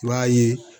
I b'a ye